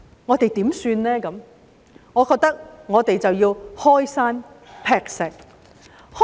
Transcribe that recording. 我認為，我們應該要開山劈石。